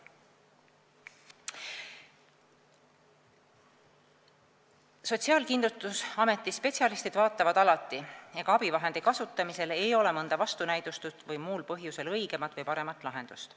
Sotsiaalkindlustusameti spetsialistid vaatavad alati, ega abivahendi kasutamisel ei ole mõnda vastunäidustust või muul põhjusel õigemat või paremat lahendust.